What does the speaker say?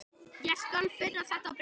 Ég skal finna þetta bréf